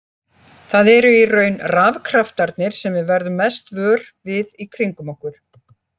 Það eru í raun rafkraftarnir sem við verðum mest vör við í kringum okkur.